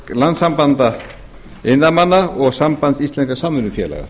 landssambands iðnaðarmanna og sambands íslenskra samvinnufélaga